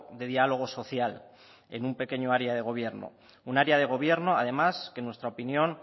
de diálogo social en un pequeño área de gobierno un área de gobierno además que nuestra opinión